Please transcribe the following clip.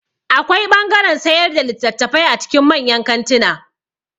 Akwai ɓangaren sayar da littafai a cikin manyan kantuna